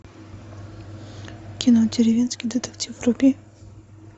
кино деревенский детектив вруби